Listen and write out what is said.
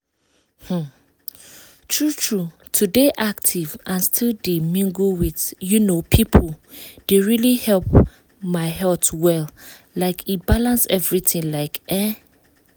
um true true to dey active and still dey mingle with um people dey really help my health well like e balance everything like ehn.